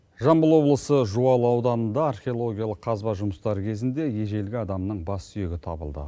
жамбыл облысы жуалы ауданында археологиялық қазба жұмыстары кезінде ежелгі адамның бас сүйегі табылды